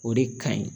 O de ka ɲi